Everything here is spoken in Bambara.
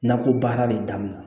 Nakɔ baara de damina